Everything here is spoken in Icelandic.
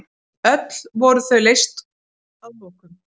Öll voru þau leyst að lokum.